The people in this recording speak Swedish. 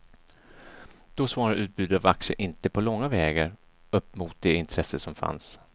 Då svarade utbudet av aktier inte på långa vägar upp mot det intresse som fanns.